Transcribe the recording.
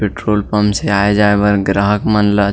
petrol pump से आए जाए बर ग्राहक मन ला--